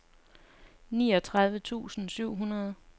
niogtredive tusind syv hundrede